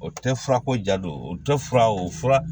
O tɛ fura ko ja don o tɛ fura o fura